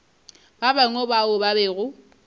ba bangwe bao ba bego